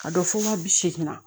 A dɔ fɔ waa bi seegin na